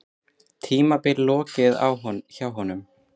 Tímabilinu lokið hjá honum